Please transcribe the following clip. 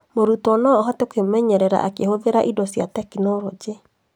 Mũrutwo no ahote kwĩmenyerera akĩhũthĩra indo cia tekinoronjĩ